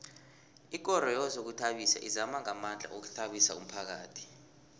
ikoro yezokuzithabisa izama ngamandla ukuthabisa umphakhathi